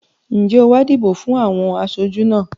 Ǹjẹ́ o wá dìbò fún àwọn aṣojú náà?